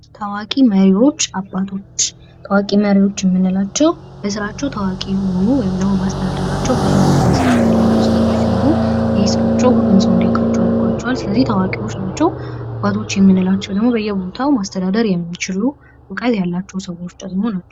ታዋቂ መሪዎች አባቶች ታዋቂ መሪዎች የምንላቸው በስራቸው ታዋቂ የሆኑ ወይም ደግሞ በአስተዳደራቸው ብዙ ነገርን ሰርተው ያለፉ ሰዎች ሲሆኑ ይህ ስራቸው ሰው እንዲያውቃቸው አድርጎአቸዋል። ሲለዚህ ታዋቂ እኒዲሆኑ አድርጓቸዋል። አባቶች የምንላቸው ደግሞ እውቀት ያላቸው ሰዎች ናቸው።